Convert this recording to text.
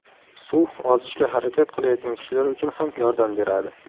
Suv ozishga harakat qilayotgan kishilar uchun ham yordam beradi.